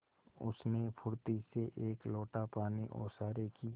उसने फुर्ती से एक लोटा पानी ओसारे की